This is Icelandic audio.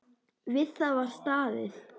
Við það var staðið.